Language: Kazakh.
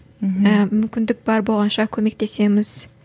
мхм мүмкіндік бар болғанша көмектесеміз